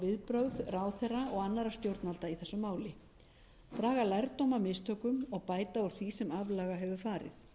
viðbrögð ráðherra og annarra stjórnvalda í þessu máli draga lærdóm af mistökum og bæta úr því sem aflaga hefur farið